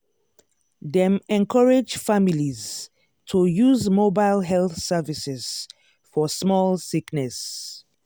dem encourage families to use mobile health services for small sickness.